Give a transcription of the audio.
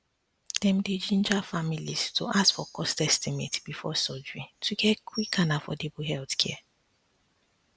dem dey ginger families to ask for cost estimate before surgery to get quick and affordable healthcare